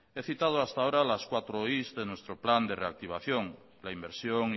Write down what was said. he citado hasta ahora las cuatro primero de nuestro plan de reactivación la inversión